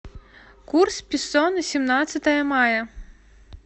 курс песо на семнадцатое мая